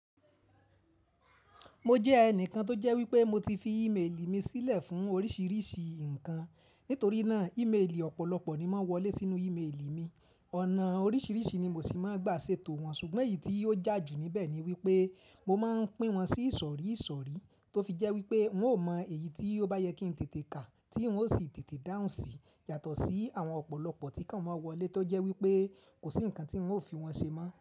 Mo jẹ́ ẹnìkan tó jẹ́ wípé mo ti fi ìméèlì mi sílẹ̀ fún oríṣiríṣi nǹkan. Nítorí náà ìméèlì ọ̀pọ̀lọpọ̀ ni ó máa ń wọlé sínú ìméèlì mi. Ọ̀nà oríṣiríṣi ni mo sì máa ń gba ṣètò wọn ṣùgbọ́n èyí tí ó jà jù níbẹ̀ ni wípé mo máa ń pín wọn sí ìṣọ̀rí ìṣọ̀rí tó fi jẹ́ wípé won ó mọ èyí tí ó bá yẹ kí tètè kà tí won ó sì tètè dáhùn sí yàtọ̀ sí àwọn ọ̀pọ̀lọpọ̀ tí kàn máa wọlé tó jẹ́ wípé kò sí ǹkan tí wọn ó fi wọn ṣe mọ́